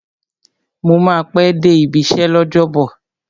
Mo máa pẹ́ dé ibi iṣẹ́ l'ọ́jọ́bọ̀